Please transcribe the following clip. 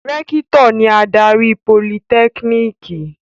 Rẹ́kítọ̀ ni adarí Politẹ́kínìkì.